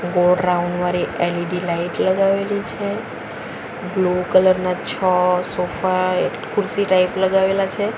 ગોળ રાઉન્ડ વાળી LED light લગાવેલી છે બ્લુ કલર ના છ સોફા એક ખુરશી ટાઈપ લગાવેલા છે.